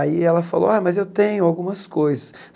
Aí ela falou, ah mas eu tenho algumas coisas.